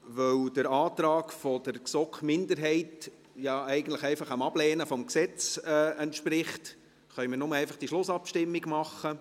Weil der Antrag der GSoK-Minderheit ja eigentlich dem Ablehnen des Gesetzes entspricht, können wir einfach nur diese Schlussabstimmung machen.